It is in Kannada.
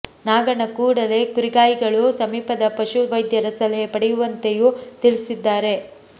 ನಾಗಣ್ಣ ಕೂಡಲೇ ಕುರಿಗಾಯಿಗಳು ಸಮೀಪದ ಪಶು ವೈದ್ಯರ ಸಲಹೆ ಪಡೆಯುವಂತೆಯೂ ತಿಳಿಸಿದ್ದಾರೆ